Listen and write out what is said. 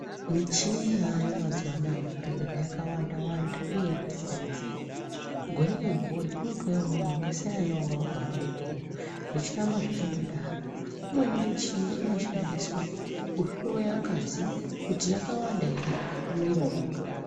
Michini yaayo mazuwanaya muzvibhedhlera yakawanda wanda uye yakasiyana siyana gore ngegore kunotouya umweni wakasiyana newanga wagara uripo zvechiramba zvechindodaro umweni muchini inoshandiswa kuhloya ngazi kuti yakawanda ere mumwiri wemuntu